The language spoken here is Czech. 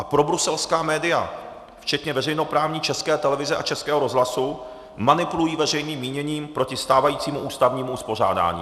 A probruselská média, včetně veřejnoprávní České televize a Českého rozhlasu, manipulují veřejným míněním proti stávajícímu ústavnímu uspořádání.